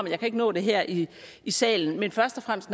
jeg kan ikke nå det her i i salen men først og fremmest